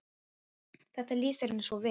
Þetta lýsir henni svo vel.